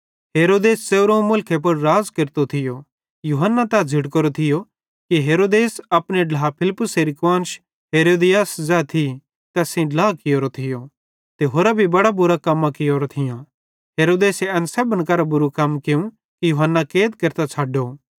हेरोदेस एन सेब्भन करां जादे बुरू कम कियूं कि यूहन्ना कैद केरतां छ़ड्डो